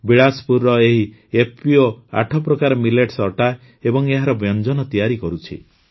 ବିଳାସପୁରର ଏହି ଏଫପିଓ ଆଠ ପ୍ରକାରର ମିଲେଟ୍ସ ଅଟା ଏବଂ ଏହାର ବ୍ୟଞ୍ଜନ ତିଆରି କରୁଛି